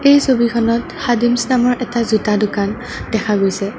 এই ছবিখনত খাদিমছ নামৰ এটা জোতা দোকান দেখা গৈছে।